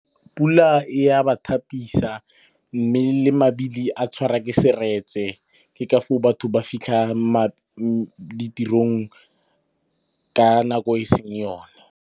Pula e ya ba thapisa mme le mabili a tshwarwa ke seretse. Ke ka foo batho ba fitlha ditirong ka nako e seng yone.